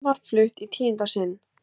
Frumvarp flutt í tíunda sinn